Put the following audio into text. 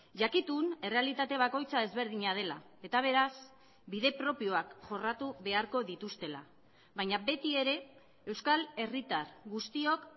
jakitun errealitate bakoitza ezberdina dela eta beraz bide propioak jorratu beharko dituztela baina beti ere euskal herritar guztiok